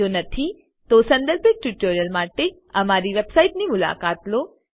જો નથી તો સંદર્ભિત ટ્યુટોરીયલો માટે અમારી વેબસાઈટની મુલાકાત લો